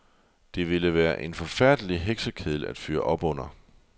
Det ville være en forfærdelig heksekedel at fyre op under.